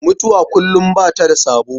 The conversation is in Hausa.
Mutuwa kullum ba ta da sabo.